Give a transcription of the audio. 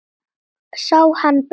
Sá hann brenna af.